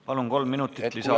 Palun, kolm minutit lisaaega!